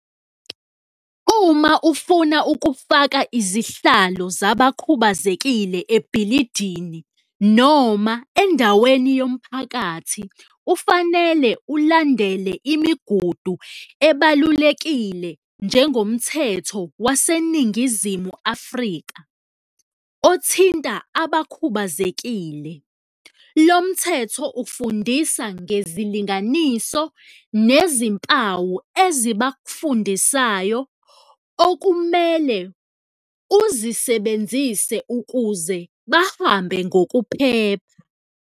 Uma ufuna ukufaka izihlalo zabakhubazekile ebhilidini noma endaweni yomphakathi, ufanele ulandele imigudu ebalulekile njengomthetho waseNingizimu Afrika othinta abakhubazekile. Lo mthetho ufundisa ngezilinganiso nezimpawu ezibafundisayo okumele uzisebenzise ukuze bahambe ngokuphepha.